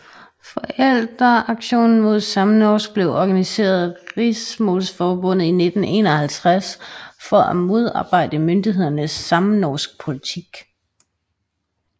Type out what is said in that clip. Foreldreaksjonen mot samnorsk blev organiseret af Riksmålsforbundet i 1951 for at modarbejde myndighedernes samnorskpolitik